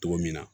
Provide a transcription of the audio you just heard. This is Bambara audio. Cogo min na